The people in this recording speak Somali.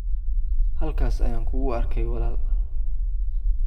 halkaas ayaan kugu arkay walaal.